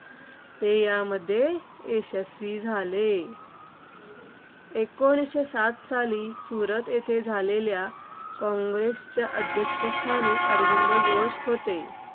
ते यामध्ये यशस्वीही झाले. एकोणीसशे सात साली सुरत येथे झालेल्या काँग्रेसच्या अध्यक्षस्थानी अरविंद घोष होते.